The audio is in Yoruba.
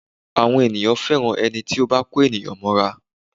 Àwọn ènìyàn fẹ́ràn ẹni tí ó bá kó ènìyàn mọ́ra